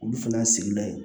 Olu fana sigida ye